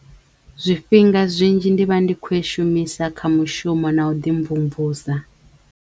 Zwifhinga zwinzhi ndi vha ndi khou i shumisa kha mushumo na u ḓi mvumvusa.